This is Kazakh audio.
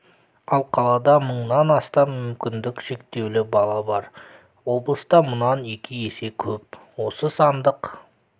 ал қалада мыңнан астам мүмкіндігі шектеулі бала бар облыста мұнан екі есе көп осы сандық